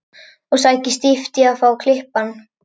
Og sækir stíft að fá að klippa hann.